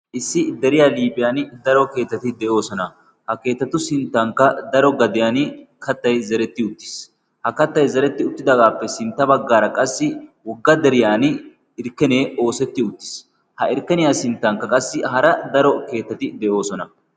issi deriyaa liiphiyan daro keettati de7oosona. ha keetatu sinttankka daro gadiyan kattai zeretti uttiis. ha kattai zeretti uttidaagaappe sintta baggaara qassi wogga deriyan irkkenee oosetti uttiis. ha irkkeniyaa sinttankka qassi hara daro keettati de7oosona.